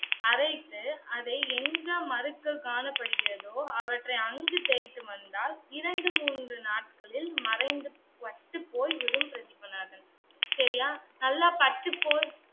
அரைத்து அதை எங்க மருக்கள் காணப்படுகிறதோ அவற்றை அங்கு தேய்த்து வந்தால் இரண்டு, மூன்று நாட்களில் மறைந்து பட்டுப் போய்விடும் பிரதீபநாதன். சரியா? நல்லா பட்டுப் போல்